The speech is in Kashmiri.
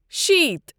شیٖتھ